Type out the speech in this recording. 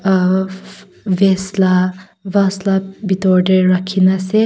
uhh vase la la bitor deh rakhina asey--